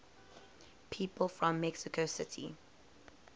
people from mexico city